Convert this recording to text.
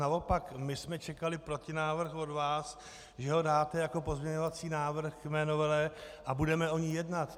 Naopak my jsme čekali protinávrh od vás, že ho dáte jako pozměňovací návrh k mé novele a budeme o ní jednat.